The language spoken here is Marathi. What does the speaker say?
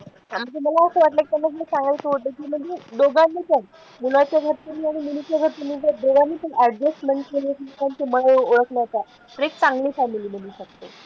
तुम्हाला असं वाटलं की त्यांना सांगायचं होतं, की म्हणजे दोघांनी पण मुलाच्या घरच्यांनी आणि मुलीच्या घरच्यांनी पण दोघांनी पण adjustment केली तर तुम्हाला ओळखलं जातं तर एक चांगली family बनू शकते.